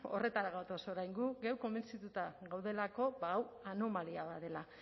horretara gatoz orain gu geu konbentzituta gaudelako hau anomalia bat dela